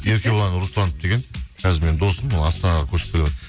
еркебұлан русланов деген қазір менің досым ол астанаға көшіп келіватыр